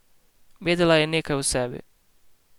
Vedela je nekaj o sebi.